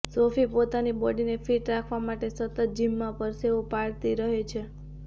Sophie પોતાની બોડીને fit રાખવા માટે સતત જિમમાં પરસેવો પાડતી રહે છે